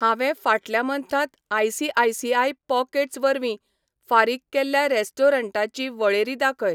हांवें फाटल्या मन्थांत आय.सी.आय.सी.आय पॉकेट्स वरवीं फारीक केल्ल्या रेस्टॉरंटांची वळेरी दाखय.